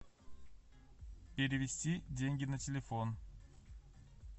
перевести деньги на телефон